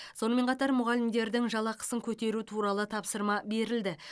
сонымен қатар мұғалімдердің жалақысын көтеру туралы тапсырма берілді